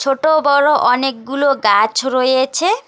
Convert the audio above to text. ছোট বড় অনেকগুলো গাছ রয়েছে।